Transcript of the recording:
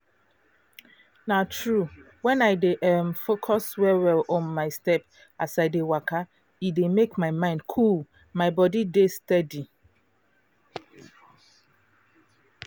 na true! when i dey um focus well-well on my steps as i dey waka e dey make my mind cool my body dey steady.